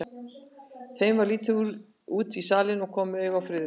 Þeim verður litið út í salinn og koma auga á Friðrik.